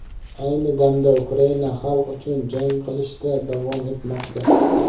Ayni damda Ukraina xalq uchun jang qilishda davom etmoqda.